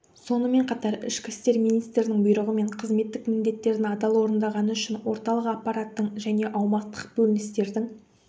сонымен қатар ішкі істер министрінің бұйрығымен қызметтік міндеттерін адал орындағаны үшін орталық аппараттың және аумақтық бөліністердің